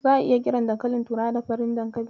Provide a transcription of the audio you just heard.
Za'a iya kiran dankalin turawa da 'Farin dankali'.